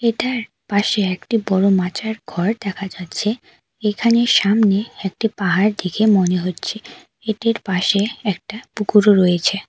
এটার পাশে একটি বড়ো মাচার ঘর দেখা যাচ্ছে এখানে সামনে একটি পাহাড় দেখে মনে হচ্ছে এটির পাশে একটা পুকুরও রয়েছে।